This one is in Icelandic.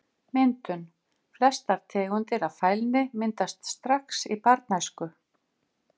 Myndun Flestar tegundir af fælni myndast strax í barnæsku.